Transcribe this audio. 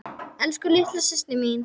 Elsku litla systir mín.